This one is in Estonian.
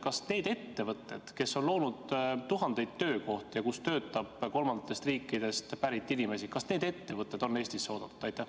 Kas need ettevõtted, kes on loonud tuhandeid töökohti ja kus töötab kolmandatest riikidest pärit inimesi, on Eestisse oodatud?